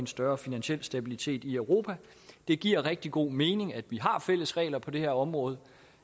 større finansiel stabilitet i europa det giver rigtig god mening at vi har fælles regler på det her område